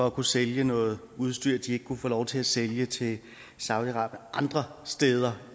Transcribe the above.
at kunne sælge noget udstyr de ikke kunne få lov til at sælge til saudi arabien andre steder